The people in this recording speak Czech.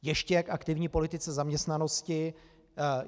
Ještě k aktivní politice zaměstnanosti.